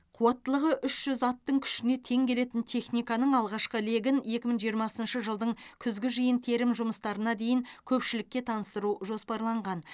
қуаттылығы үш жүз аттың күшіне тең келетін техниканың алғашқы легін екі мың жиырмасыншы жылдың күзгі жиын терім жұмыстарына дейін көпшілікке таныстыру жоспарланған